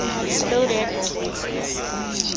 loaded with blocks